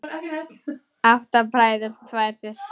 Átta bræður, tvær systur.